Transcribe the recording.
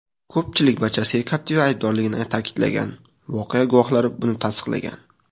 Ko‘pchilik barchasiga Captiva aybdorligini ta’kidlagan, voqea guvohlari buni tasdiqlagan.